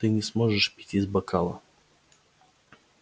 ты не сможешь пить из бокала